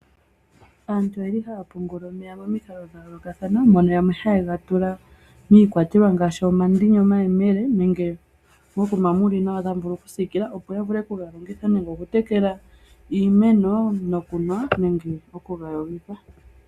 Aantu oyeli haya pungula omeya momikalo dhayoolokathana, mono yamwe hayega tula miikwatelwa ngaashi, omandini, omayemele, nenge mokuma muli nawa tamu vulu okusiikilwa, opo yavule okuga hupitha nenge okutekela iimeno, nokunwa nenge okuga yogitha.